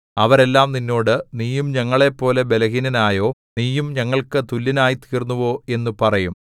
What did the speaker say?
അവരെല്ലാം നിന്നോട് നീയും ഞങ്ങളെപ്പോലെ ബലഹീനനായോ നീയും ഞങ്ങൾക്കു തുല്യനായിത്തീർന്നുവോ എന്നു പറയും